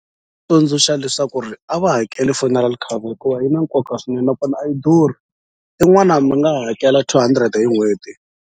Tsundzuxa leswaku ri a va hakeli funeral cover hikuva yi na nkoka swinene nakona a yi durhi i mi nga hakela two hundred hi n'hweti.